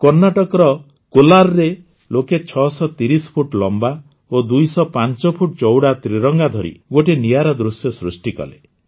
କର୍ଣ୍ଣାଟକର କୋଲାରରେ ଲୋକେ ୬୩୦ ଫୁଟ୍ ଲମ୍ବା ଓ ୨୦୫ ଫୁଟ୍ ଚଉଡ଼ା ତ୍ରିରଙ୍ଗା ଧରି ଗୋଟିଏ ନିଆରା ଦୃଶ୍ୟ ସୃଷ୍ଟି କଲେ